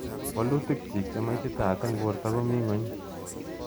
Walutik chiik che maititat eng borto komii nguny.